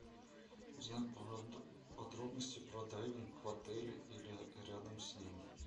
узнать подробности про дайвинг в отеле или рядом с ним